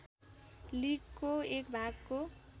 लिगको एक भागको